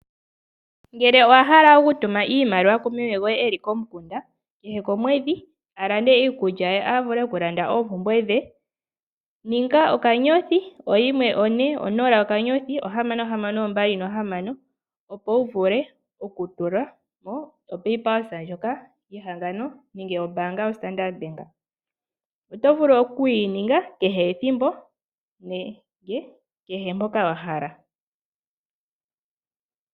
Ngele owa hala oku tuma iimaliwa kumeme goye ngoka eli komukunda kehe komwedhi alande iikulya ye avule okulanda oopumbwe dhe dhenga *140*6626, opo wuvule oku tulamo o paypulse ndjoka yehangano nenge yo standard bank, oto vulu oku yininga kehe ethimbo nenge kehe poka wahala .